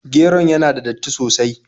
Geron yana da datti sosai.